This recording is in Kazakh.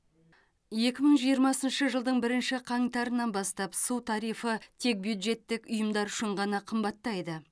екі мың жиырмасыншы жылдың бірінші қаңтарынан бастап су тарифі тек бюджеттік ұйымдар үшін ғана қымбаттайды